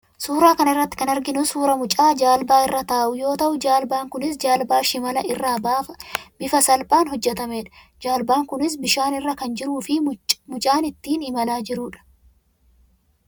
Suuraa kana irratti kan arginu suuraa mucaa jaalbaa irra taa'u yoo ta'u, jaalbaan kunis jaalbaa shimalaa irraa bifa salphaan hojjetamedha. Jaalbaan kunis bishaan irra kan jiruu fi mucaan ittiin imalaa jirudha.